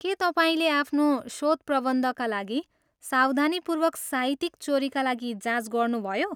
के तपाईँले आफ्नो शोधप्रबन्धका लागि सावधानीपूर्वक साहित्यिक चोरीका लागि जाँच गर्नुभयो?